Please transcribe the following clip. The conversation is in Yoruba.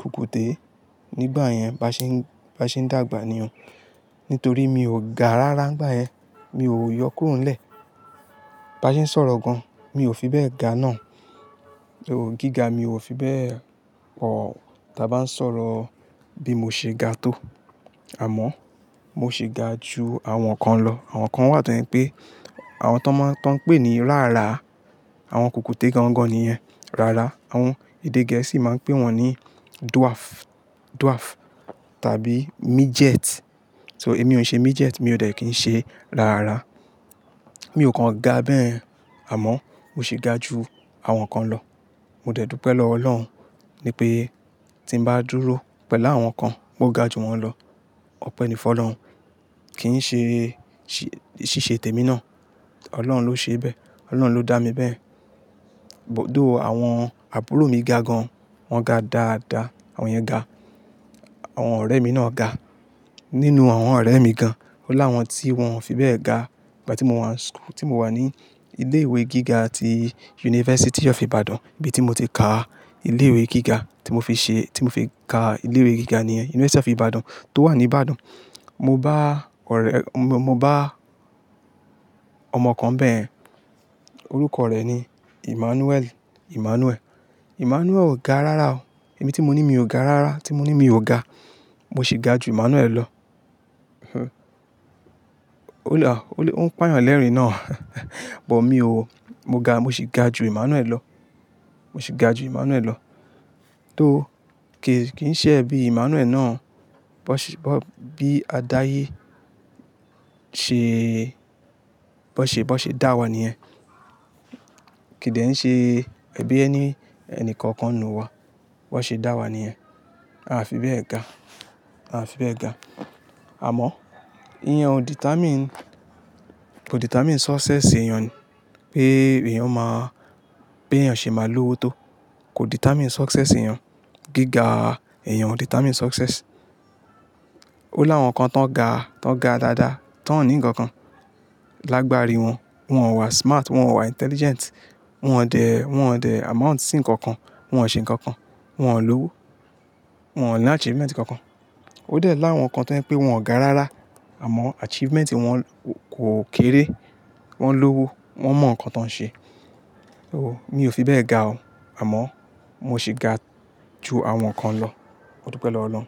kùkùté. Nígbà yẹn bá ṣe ń, bá ṣe ń dàgbà ni o. Nítorí mi ò ga rárá nígbà yẹn. Mi ò yọ kúrò nlẹ́. Bá ṣe ń sọ̀rọ̀ gan-an, mi ò fi bẹ́ẹ̀ ga náà. Though, gíga mi ò fi bẹ́ẹ̀ pọ̀. Taa bá ń sọ̀rọ̀ bí mo ṣe ga tó. Àmọ́, mo ṣi ga ju àwọn kan lọ. Àwọn kan wà tó jẹ pé, àwọn tó máa ń, tóń pè ní rárá. Àwọn kùkùté gan-an gan-an ni yẹ. Rárá, àwọn èdè gẹ̀ẹ́sì máa ń pè wọ́n ní dwarf, dwarf tàbí midget. So èmi ò ṣe midget, mi ò dẹ̀ kí ń ṣe rárá. Mi ò kan ga bẹ́yẹ̀. Àmọ́, mo ṣe ga ju àwọn kan lọ. Mo dẹ́ dúpẹ̀ lọ́wọ Ọlọ́run ní pé tí ń bá dúró pẹ̀lú àwọn kan, mo ga ju wọ́n lọ. Ọpẹ́ ní fún Ọlọ́run. Kì í ṣe, ṣíṣe tèmi náà. Ọlọ́run ló ṣe bẹ́ẹ̀. Ọlọ́run ló dá mi bẹ́ẹ̀. But though àwọn àbúrò mi ga gan-an, wọ́n ga dáadáa. Àwọn yẹn ga. Àwọn ọ̀rẹ́ mi náà ga. Nínú àwọn ọ̀rẹ́ mi gan-an. Ó láwọn tí wọ́n fi bẹ́ẹ̀ ga. Ìgbà tí mò ń wà school, tí mò wà ní ilé ìwé gíga ti University of Ibadan. Ibi tí mo ti ka ilé ìwé gíga, tí mo fi ṣe, tí mo fi ka ilé ìwé gíga ní yẹn University of Ibadan tó wà ní Ibadan. Mo bá ọ̀rẹ́, mo bá ọmọ kan bẹ́ẹ̀. Orúkọ rẹ̀ ni Emmanuel, Emmanuel. Emmanuel ò ga rárá o. Ẹ̀mi tí mo ní mi ò ga rárá, tí mo ní mi ò ga. Mo sì ga ju Emmanuel lọ. O le, o le, ó ń pààyàn lẹ́rìn-ín náà. But mi ò. Mo ga, mo sì ga ju Emmanuel lọ. Mo sì ga ju Emmanuel lọ. Though, kì í ṣe ẹ̀bí Emmanuel náà, bí adáyé ṣe, bó ṣe dá wa nìyẹn. Kìdẹ́ ń ṣe ẹbí ẹni ẹnìkankan n'nu wa. Bó ṣe dá wa nìyẹn. A fi bẹ́ẹ̀ ga. A fi bẹ́ẹ̀ ga. Àmọ́, iyan ò determine, kò determine success èèyàn ní. Pé èèyàn máa, bé èèyàn ṣe máa lówó tó. Kò determine success èèyàn. Gíga èèyàn ò determine success. Ó láwọn kan tó ń ga, tó ń ga dáadáa, tó ń ní nǹkan kan. Lágbàrí wọn, wọn ò wà smart, wọn ò wà intelligent. Wọn ò dẹ̀, wọn ò dẹ̀ amount sí nǹkankan. Wọn ò ṣe nǹkan kan. Wọn ò lówó. Wọn ò ní achievement kan-kan. Ó dẹ̀ láwọn kan tó jẹ́ pè wọn ò ga rárá, àmọ́ achievement wọn kò kéré. Wọ́n lówó, wọ́n mọ nǹkan tó ń ṣe. Ooo, mi ò fi bẹ́ẹ̀ ga o. Àmọ́, mo sì ga ju àwọn kan lọ. Modúpẹ̀ lọ́wọ́ Ọlọ́run.